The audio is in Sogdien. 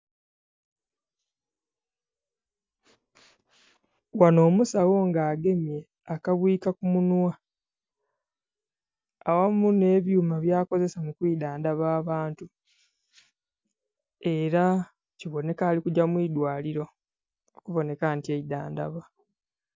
Ghanho omusawo nga agemye akabwika ku munhwa aghamu nhe ebyuma bya akozesa mu kwidhandhaba abantu era kibonheka ali kugya mu idwaliro okubonheka nti eidhandhaba.